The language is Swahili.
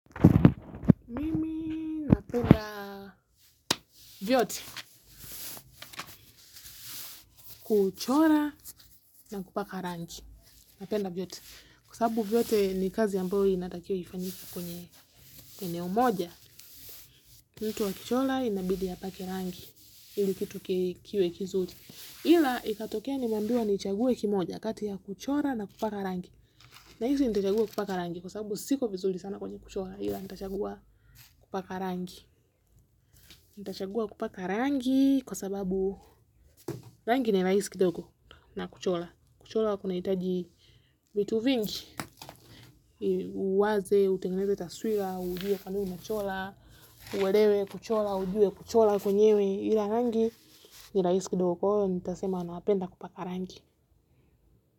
Mimi napenda vyote kuchora na kupaka rangi napenda vyote kwa sababu vyote ni kazi ambayo inatakiwa ifanyike kwenye umoja. Nitu wa kichora inabidi ya pake rangi ili kitu kikiwe kizuti ila ikatokea nimambiwa ni chagwe kimoja kati ya kuchora na kupaka rangi nilaisi nitachagua kupaka rangi kwa sababu siko vizuli sana kwenye kuchola ila nitachagua kupaka rangi nitachagua kupaka rangi kwa sababu rangi ni rahisi kidogo na kuchora kuchora kuna hitaji vitu vingi uwaze, utengeneze taswira, ujue kandui na chora, uwadewe kuchora, ujue kuchora kwenyewe ila rangi nilaisi kitoko, nitasema anapenda kupaka rangi.